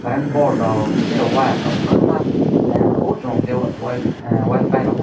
aing bolt o tri wire rok kwbangma nugo chuk ke wifi rok.